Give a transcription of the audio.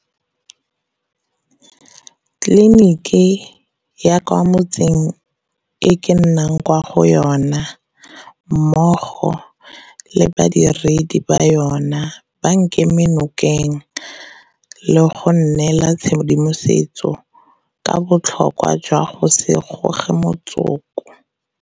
Tleliniki ya kwa mo tseng o ke nnang kwa go ona mmogo le badiredi ba yona ba nkeme nokeng le go nnela tshedimosetso ka botlhokwa jwa go se goge motsoko.